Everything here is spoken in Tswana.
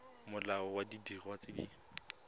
molao wa didiriswa tse di